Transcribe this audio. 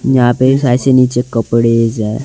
यहां पे इस ऐसे नीचे कपड़े ज हैं।